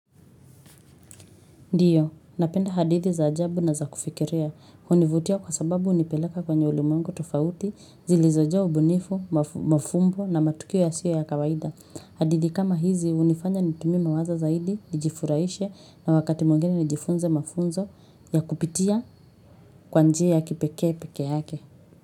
Ndiyo, napenda hadithi za ajabu na za kufikiria, hunivutia kwa sababu unipeleka kwenye ulimwengu tofauti zilizojaa ubunifu, mafumbo na matukio yasiyo ya kawaida. Hadithi kama hizi hunifanya nitumie mawazo zaidi, nijifuraishe na wakati mwingine ni jifunze mafunzo ya kupitia kwa njia ya kipekee peke yake.